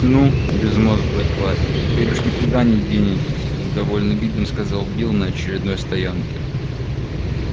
ну безмозглые твари теперь уж никуда не денетесь с довольным видом сказал билл на очередной стоянке